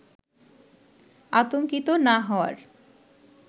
আতঙ্কিত না হওয়ার